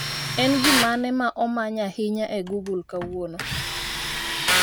En gimane ma omany ahinya e google kawuono